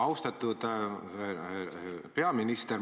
Austatud peaminister!